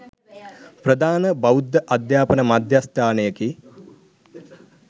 ප්‍රධාන බෞද්ධ අධ්‍යාපන මධ්‍යස්ථානයකි.